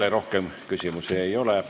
Teile rohkem küsimusi ei ole.